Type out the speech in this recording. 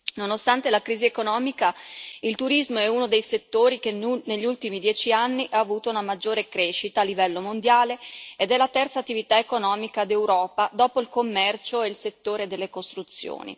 Nonostante la crisi economica, il turismo è uno dei settori che negli ultimi dieci anni ha avuto una maggiore crescita a livello mondiale ed è la terza attività economica d'Europa dopo il commercio e il settore delle costruzioni.